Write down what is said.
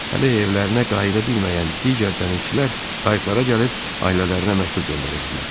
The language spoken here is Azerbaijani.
Hələ evlərinə qayıda bilməyən digər dənizçilər qayıqlara gəlib ailələrinə məktub göndərirdilər.